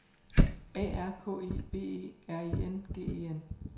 A R K I V E R I N G E N